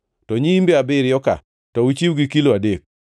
to nyiimbe abiriyo-ka, to uchiw gi kilo adek.